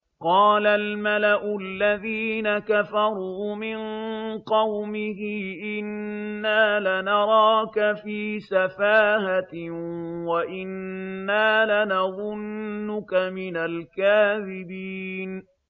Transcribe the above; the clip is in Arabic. قَالَ الْمَلَأُ الَّذِينَ كَفَرُوا مِن قَوْمِهِ إِنَّا لَنَرَاكَ فِي سَفَاهَةٍ وَإِنَّا لَنَظُنُّكَ مِنَ الْكَاذِبِينَ